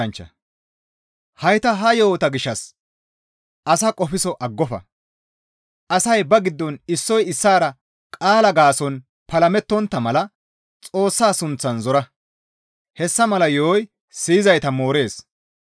Hayta ha yo7ota gishshas asaa qofso aggofa; asay ba giddon issoy issaara qaalaa gaason palamettontta mala Xoossa sunththan zora; hessa mala yo7oy siyizayta moorees.